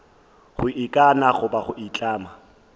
go ikana goba go itlama